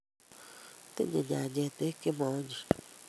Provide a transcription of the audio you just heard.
Tinyei nyanjet beek che moonyiny